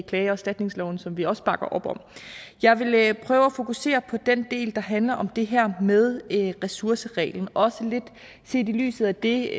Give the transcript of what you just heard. klage og erstatningsloven som vi også bakker op om jeg vil prøve at fokusere på den del der handler om det her med ressourcereglen også lidt set i lyset af det